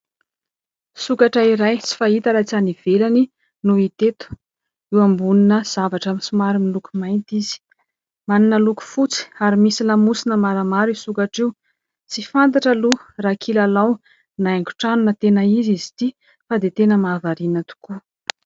Sokatra iray tsy fahita raha tsy any ivelany no hita eto, eo ambonina zavatra somary miloko mainty izy ; manana loko fotsy ary misy lamosina maramara io sokatra io. Tsy fantatra aloha raha kilalao na haingon-trano na tena izy izy ity fa dia tena mahavariana tokoa.